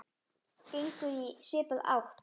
gengur í svipaða átt.